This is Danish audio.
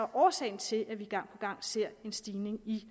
årsagen til at vi gang gang ser en stigning i